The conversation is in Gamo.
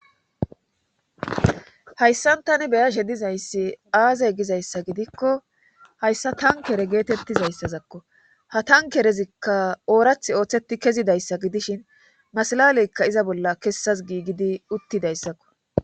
Hayssan tani beya she dizayssi aazey gizayssa gidikko hayssa tankere geetettizayssazakko ha tankerezikka oorath ooththetti kezidayssa gidishin masalaleyka iza bolla kessas giigidi uttidayssakko.